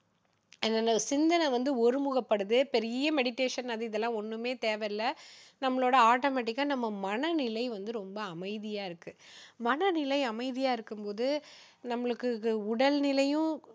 அது என்னது சிந்தனை வந்து ஒருமுகப்படுது பெரிய meditation அது இதெல்லாம் வந்து ஒண்ணுமே தேவையில்ல. நம்மளோட automatic டா நம்ம மனநிலை வந்து ரொம்ப அமைதியா இருக்கு மனநிலை அமைதியா இருக்கும் போது நம்மளுக்கு உடல் நிலையும்